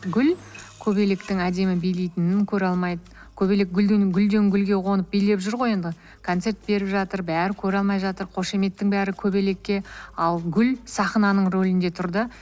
гүл көбелектің әдемі билейтінін көре алмайды көбелек гүлден гүлге қонып билеп жүр ғой енді концерт беріп жатыр бәрі көре алмай жатыр қошеметтің бәрі көбелекке ал гүл сахнаның рөлінде тұр да